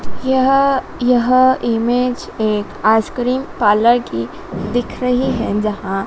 यह यह इमेज एक आसक्रीम पार्लर की दिख रही हैं जहाँ--